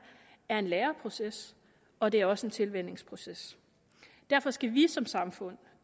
er en læreproces og det er også en tilvænningsproces derfor skal vi som samfund